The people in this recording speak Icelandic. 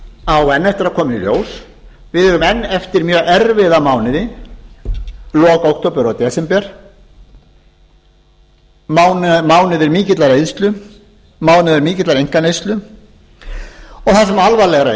á enn eftir að koma í ljós við eigum enn eftir mjög erfiða mánuði lok október og desember mánuði mikillar eyðslu mánuði mikillar einkaneyslu og það sem alvarlegra